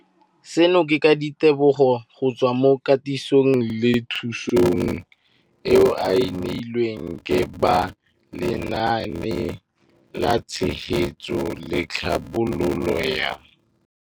Seno ke ka ditebogo go tswa mo katisong le thu song eo a e neilweng ke ba Lenaane la Tshegetso le Tlhabololo ya